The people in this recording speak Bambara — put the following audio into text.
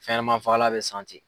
Fɛnɲanaman fagalan bɛ san ten.